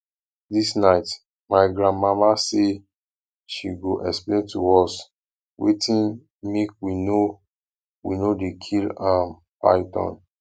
dis night my grandmama say she go explain to us wetin make we no we no dey kill um python